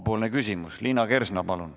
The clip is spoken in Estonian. Liina Kersna, palun!